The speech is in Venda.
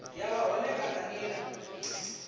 ya vha hone kana nila